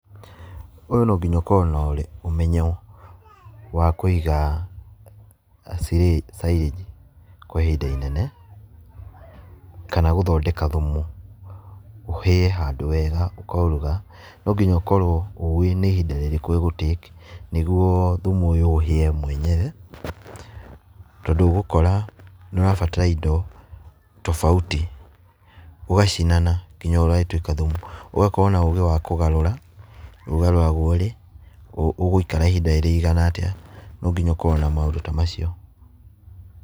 Ũyũ no nginya ũkorwo na ũmenyo wa kũiga silage kwa ihinda i nene kana gũthondeka thumu, ũhĩe handũ wega ũkauruga. Nonginya ũkorwo ũwĩ nĩ ihinda rĩrĩkũ ĩgũtĩki nĩguo thumu ũyũ ũhĩe mwenyewe. Tondũ ũgũkora nĩ wa batara indo tofauti ũgacinana nginya ũgagĩtuĩka thumu. Ũgakorwo na ũgĩ wa kũgarũra, ũgarũragwo rĩ, ũgũikara ihinda rĩigana atĩa, no nginya ũkorwo na mũndũ ta macio.